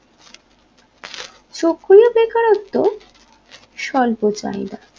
চক্রীয় বেকারত্ব স্বল্প চাহিদা